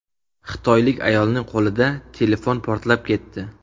Xitoylik ayolning qo‘lida telefon portlab ketdi.